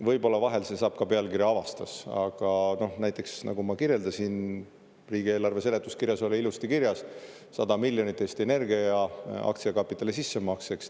Võib-olla vahel see saab ka pealkirja "avastas", aga näiteks, nagu ma kirjeldasin, riigieelarve seletuskirjas oli ilusti kirjas 100 miljonit eurot Eesti Energia aktsiakapitali sissemakseks.